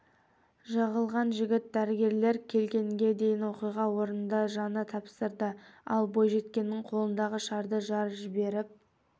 жығылған жігіт дәрігерлер келгенге дейін оқиға орнында жан тапсырды ал бойжеткеннің қолындағы шарды жарып жіберіп